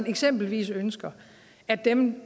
eksempelvis ønsker at dem